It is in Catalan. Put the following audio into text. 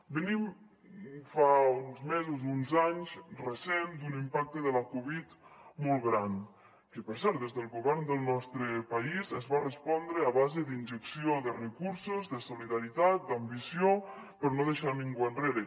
venim fa uns mesos uns anys recents d’un impacte de la covid molt gran que per cert des del govern del nostre país es va respondre a base d’injecció de recursos de solidaritat d’ambició per no deixar ningú enrere